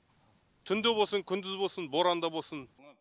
түнде болсын күндіз болсын боранда болсын